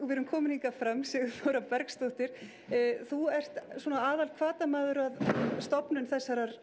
við erum komin hingað fram Sigurþóra Bergsdóttir þú ert svona aðalhvatamaður að stofnun þessara